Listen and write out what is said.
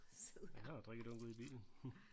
Ja jeg har jo drikkedunk ude i bilen